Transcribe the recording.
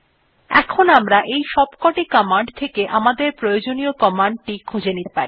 এখন আমরা এই সবকটি কমান্ড থেকে আমাদের প্রয়োজনীয় কমান্ড টি খুঁজে নিতে পারি